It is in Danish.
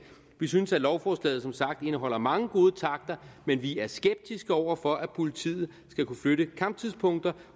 vi synes at lovforslaget indeholder mange gode takter men vi er skeptiske over for at politiet skal kunne flytte kamptidspunkter